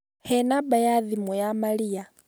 He namba ya thimũ ya Maria.